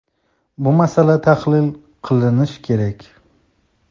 Bu masala tahlil qilinishi kerak.